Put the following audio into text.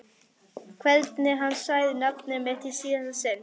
Hvernig hann sagði nafnið mitt í síðasta sinn.